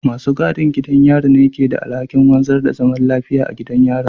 Masu gadin gidan yari ne ke da alhakin wanzar da zaman lafiya a gidan yarin